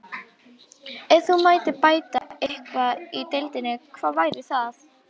Ef þú mættir bæta eitthvað í deildinni, hvað væri það?